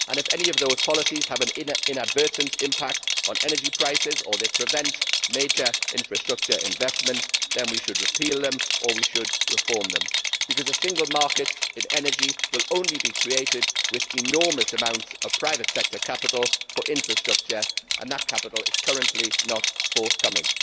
If any of those policies have an inadvertent impact on energy prices or if they prevent major infrastructure investment, we should repeal them or reform them, because a single market in energy will be created only with enormous amounts of private sector capital for infrastructure, and that capital is currently not forthcoming.